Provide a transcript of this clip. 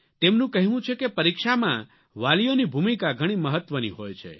તેમનું કહેવું છે કે પરીક્ષામાં વાલીઓની ભૂમિકા ઘણી મહત્વની હોય છે